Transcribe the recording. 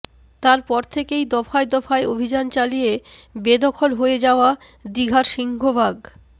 তার পর থেকেই দফায় দফায় অভিযান চালিয়ে বেদখল হয়ে যাওয়া দিঘার সিংহভাগ